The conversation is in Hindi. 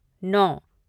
नौ